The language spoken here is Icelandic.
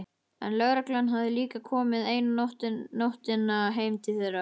En lögreglan hafði líka komið eina nóttina heim til þeirra.